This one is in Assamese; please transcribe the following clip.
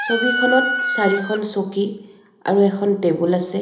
ছবিখনত চাৰিখন চকী আৰু এখন টেবুল আছে.